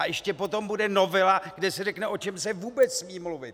A ještě potom bude novela, kde se řekne, o čem se vůbec smí mluvit.